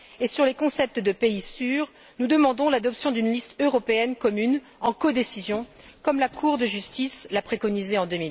Et sur les concepts de pays sûrs, nous demandons l'adoption d'une liste européenne commune en codécision, comme la Cour de justice l'a préconisé en